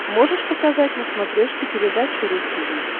можешь показать на смотрешке передачу ру ти ви